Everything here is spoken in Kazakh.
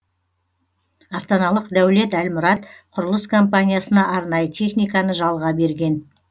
астаналық дәулет әлмұрат құрылыс компаниясына арнайы техниканы жалға берген